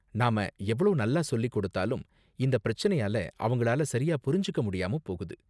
நாம எவ்ளோ நல்லா சொல்லிக் கொடுத்தாலும் இந்த பிரச்சனையால அவங்களால சரியா புரிஞ்சுக்க முடியாம போகுது.